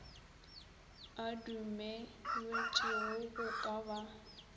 a dumelwetšego go ka ba